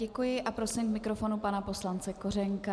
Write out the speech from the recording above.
Děkuji a prosím k mikrofonu pana poslance Kořenka.